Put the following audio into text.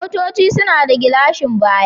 Motoci suna da gilashin baya.